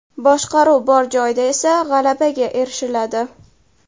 Boshqaruv bor joyda esa g‘alabaga erishiladi.